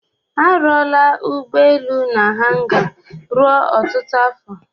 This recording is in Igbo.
A rụọla ụgbọ elu n'hanga ruo ọtụtụ afọ.